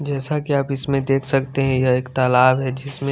जैसा की आप इसमें देख सकते है यह एक तालाब है जिसमें--